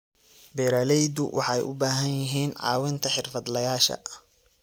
Beeraleydu waxay u baahan yihiin caawinta xirfadlayaasha.